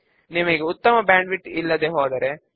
కాబట్టి అక్కడ ఒక సబ్ ఫామ్ తో మన ఫామ్ ఉన్నది